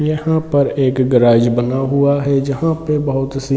यहाँ पर एक गैराज बना हुआ है जहाँ पे बहुत सी--